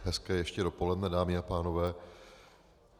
Hezké ještě dopoledne, dámy a pánové.